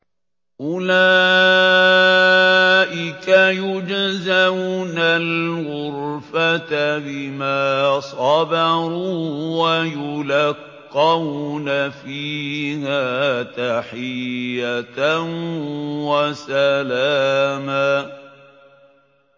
أُولَٰئِكَ يُجْزَوْنَ الْغُرْفَةَ بِمَا صَبَرُوا وَيُلَقَّوْنَ فِيهَا تَحِيَّةً وَسَلَامًا